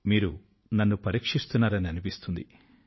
మీరు నన్ను పరీక్షిస్తున్నారని అనిపిస్తుంది